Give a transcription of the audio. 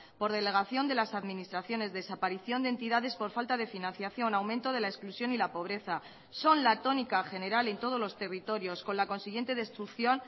por delegación de las administraciones desaparición de entidades por falta de financiación aumento de la exclusión y la pobreza son la tónica general en todos los territorios con la consiguiente destrucción